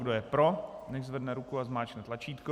Kdo je pro, nechť zvedne ruku a zmáčkne tlačítko.